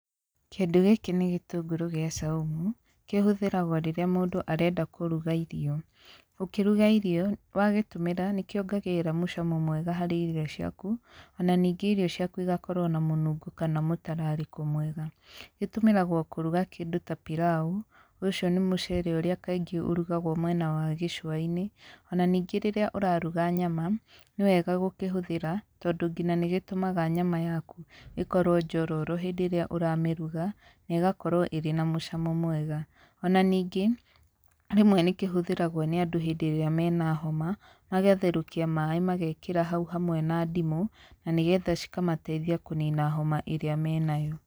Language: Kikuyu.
Kĩndũ gĩkĩ nĩ gĩtũngũrũ gĩa caũmũ ,kĩhũthĩragwo rĩrĩa mũndũ arenda kũrũga irio ũkĩrũga irio wagĩtũmĩra nĩkĩongagĩrĩra mũcamo mwega harĩ irio ciakũ ona ningĩ irio ciakũ ĩgakorwo na mũnũngo kana mũtararĩko mwega, gĩkũmĩragwo kũrũga kĩndũ ta pilau , ũcio nĩ mũcere ũrĩa kaingĩ ũrũgagwo mwena wa gĩcũwainĩ ona ningĩ rĩrĩa ũrarũga nyama nĩwega gũkĩhũthĩĩra tondũ ngĩnya nĩ gĩtũmaga nyama yakũ ĩkorwo njororo hĩndĩ ĩrĩa ũramĩrũga na ĩgakorwo ĩrĩ na mũcamo mwega ona ningĩ rĩmwe nĩ kĩhũthĩragwo nĩ andũ hĩndĩ ĩrĩa mena homa magatherũkia maĩ magekĩra haũ hamwe na ndimũ na nĩgetha cikamateithia kũnĩna homa ĩrĩa menayo.